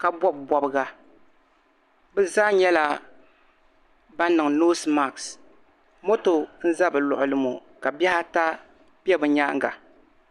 ka bɔbi bɔbiga. Bi zaa nyɛla ban niŋ nose mask. Moto ŋ n-za bi luɣili mo, ka bihi ata bɛ bi nyaanga.